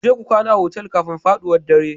Ku je ku kwana a otel kafin faɗuwar dare